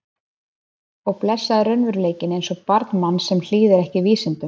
Og blessaður raunveruleikinn eins og barn manns sem hlýðir ekki vísindum.